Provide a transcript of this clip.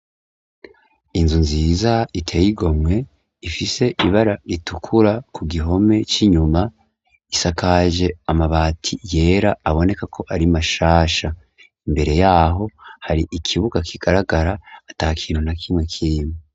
Inzu nziza iteye igomwe ifise ibara ritukura ku gihome c'inyuma isakaje amabati yera aboneka ko ari mashasha. Imbere yaho hari ikibuga kigaragara ata kintu na kimwe kimwe.